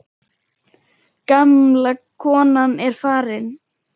Gamla konan er farin.